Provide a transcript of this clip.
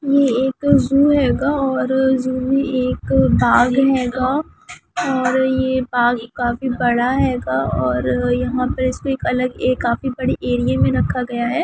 यह एक जू हे गा। और जो जू मे एक वाघ है गा और यह वाघ काफी बड़ा हैगा और यहां पे इसको एक अलग ए काफी बड़ी एरिया में रखा गया है।